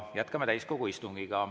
Jätkame täiskogu istungit.